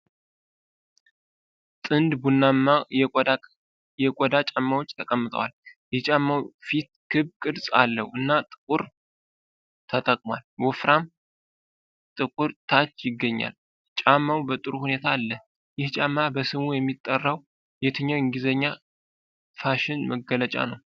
ጥንድ ቡናማ የቆዳ ጫማዎች ተቀምጠዋል። የጫማው ፊት ክብ ቅርፅ አለው፣ እና ጥቁር 끈 ተጠቅሟል ። ወፍራም ጥቁር ታች ይገኛል። ጫማው በጥሩ ሁኔታ አለ። ይህ ጫማ በስሙ የሚጠራው የትኛው የእንግሊዘኛ ፋሽን መግለጫ ነው?